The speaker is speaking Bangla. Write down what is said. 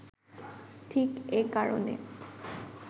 ঠিক এ কারণে